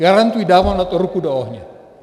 Garantuji, dávám na to ruku do ohně.